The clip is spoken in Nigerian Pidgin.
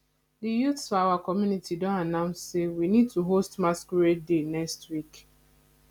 the youths for our community don announce say we need to host masquerade day next week